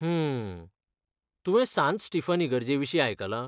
हूं. तुवें सांत स्टीफन इगर्जेविशीं आयकलां?